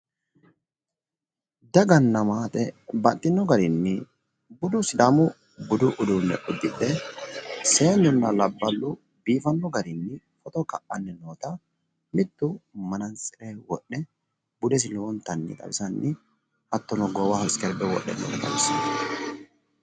Daganna maate baxxino garinni sidaamu budu uduunne uddidhe seennunna labballu biifanno garinni footo ka'anni noota mittu manantsire wodhe budesi lowontanni rosanni hattono goowaho iskerwe wodhe noota xawissanno